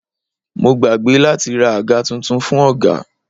Mo gbàgbé láti ra àga tuntun fún ọ̀gá.